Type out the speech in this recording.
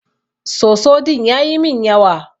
Soso din yayi min yawa.